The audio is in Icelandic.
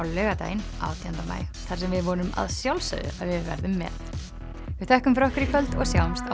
laugardaginn átjánda maí þar sem við vonum að sjálfsögðu að við verðum með við þökkum fyrir okkur í kvöld og sjáumst á